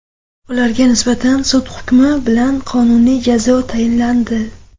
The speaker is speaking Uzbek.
Ularga nisbatan sud hukmi bilan qonuniy jazo tayinlandi.